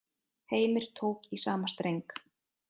Heimir tók í sama streng.